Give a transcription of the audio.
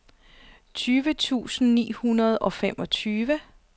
tyve tusind ni hundrede og femogtyve